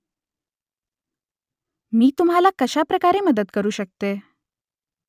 मी तुम्हाला कशाप्रकारे मदत करू शकते ?